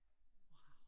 Wow